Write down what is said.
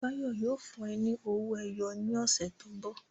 Báyọ̀ yóò fún ẹ ní owó ẹyọ si ní ọ̀sẹ̀ tó ń bọ̀